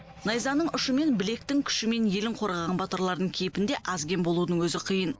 найзаның ұшымен білектің күшімен елін қорғаған батырлардың кейпінде аз кем болудың өзі қиын